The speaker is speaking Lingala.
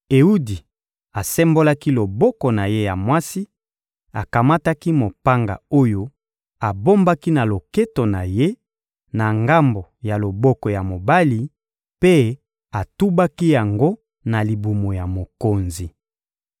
Ewudi asembolaki loboko na ye ya mwasi, akamataki mopanga oyo abombaki na loketo na ye, na ngambo ya loboko ya mobali, mpe atubaki yango na libumu ya mokonzi.